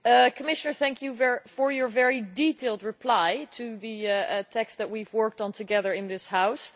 Commissioner, thank you for your very detailed reply to the text that we have worked on together in this House.